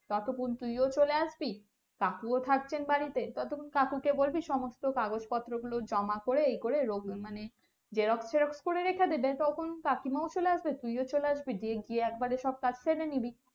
তৎক্ষন তুইও চলে আসবি কাকুও থাকছেন বাড়িতে ততক্ষন কাকুকে বলবি সমস্তহ কাগজ পত্র গুলো জমা করে ই করে রোগ মানে xerox টেরোস করে রেখে দেবে তখন কাকিমাও চলে আসবে তুইও চলে আসবি দিয়ে একবারে সব কাজ সেরে নিবি